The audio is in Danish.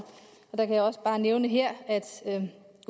jeg kan også bare nævne her at